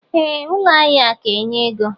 Ee ụlọ ahia ka enye ego.